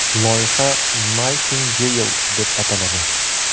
Loyiha Nightingale deb ataladi.